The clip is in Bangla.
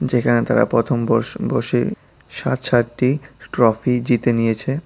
এখানে তারা প্রথম বর্ষ-বসে ষাট ষাটটি ট্রফি জিতে নিয়েছে।